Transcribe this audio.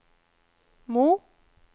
Mo